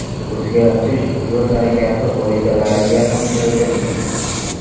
O‘zgartish yo‘l harakati qoidalariga ham kiritildi.